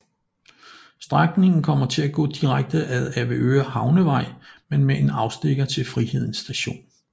Strækningen kommer til at gå direkte ad Avedøre Havnevej men med en afstikker til Friheden st